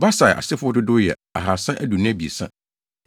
Besai asefo dodow yɛ 2 323 1